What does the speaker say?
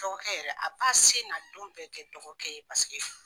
Dɔgɔkɛ yɛrɛ a ba se n'a don bɛɛ kɛ dɔgɔkɛ ye.